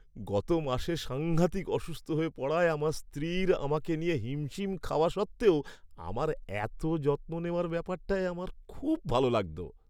গত মাসে সাঙ্ঘাতিক অসুস্থ হয়ে পড়ায় আমার স্ত্রীর আমাকে নিয়ে হিমশিম খাওয়া সত্ত্বেও আমার এত যত্ন নেওয়ার ব্যাপারটায় আমার খুব ভালো লাগতো।